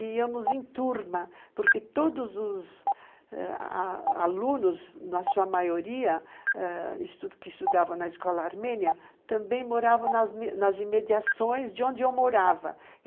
E íamos em turma, porque todos os alunos, na sua maioria, ãh, que estudavam na escola armênia, também moravam nas imediações de onde eu morava.